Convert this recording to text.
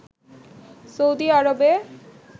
Saudi আরবে